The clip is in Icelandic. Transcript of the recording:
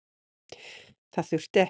Það þurfti ekki.